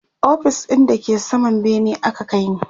ofis ɗin da ke saman bene aka kaini